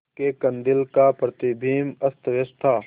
उसके कंदील का प्रतिबिंब अस्तव्यस्त था